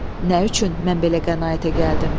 Nə üçün mən belə qənaətə gəldim?